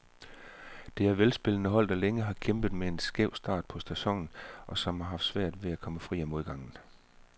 Det er velspillende hold, der længe har kæmpet med en skæv start på sæsonen, og som har haft svært ved at komme fri af modgangen.